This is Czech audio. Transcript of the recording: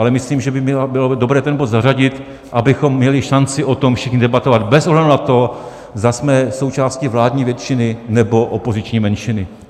Ale myslím, že by bylo dobré ten bod zařadit, abychom měli šanci o tom všichni debatovat bez ohledu na to, zda jsme součástí vládní většiny, nebo opoziční menšiny.